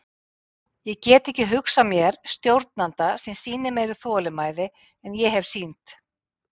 Ég get ekki hugsað mér stjórnanda sem sýnir meiri þolinmæði en ég hef sýnt.